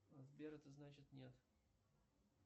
сбер это значит нет